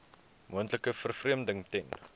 moontlike vervreemding ten